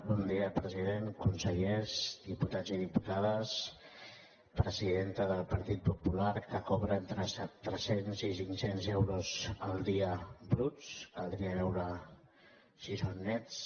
bon dia president consellers diputats i diputades presidenta del partit popular que cobra entre tres cents i cinc cents euros el dia bruts caldria veure si són nets